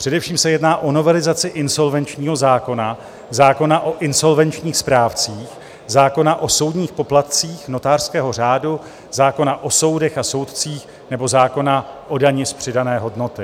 Především se jedná o novelizaci insolvenčního zákona, zákona o insolvenčních správcích, zákona o soudních poplatcích, notářského řádu, zákona o soudech a soudcích nebo zákona o dani z přidané hodnoty.